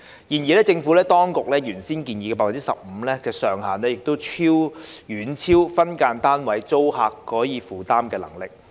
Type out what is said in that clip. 然而，政府當局原先建議 15% 的上限遠超分間單位租客可以負擔的能力。